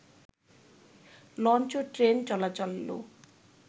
launch ও train চলাচলও